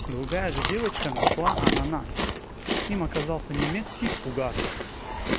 другая же девочка нашла ананас им оказался немецкий фугас